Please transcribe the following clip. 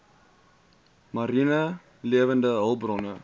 mariene lewende hulpbronne